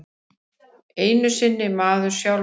Ekki einu sinni maður sjálfur.